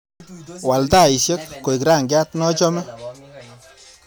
Waal taishek koek rangyat nachame